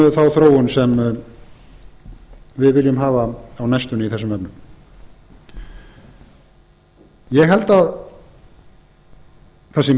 um þá þróun sem við viljum hafa á næstunni í þessum efnum ég held að það sé